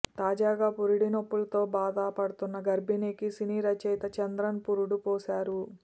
తాజాగా పురుటి నొప్పులతో బాధ పడుతున్న గర్భిణికి సినీ రచయిత చంద్రన్ పురుడు పోశారు